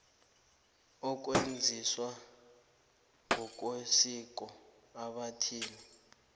okwenziwa ngokwesiko ebantwini